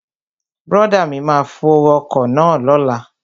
Brọ̀dá mi máa fo ọkọ̀ náà lóla